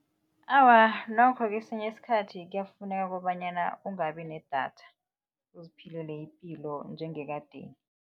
Awa, nokho kesinye isikhathi kuyafuneka kobanyana ungabi nedatha, uziphilele ipilo njengekadeni.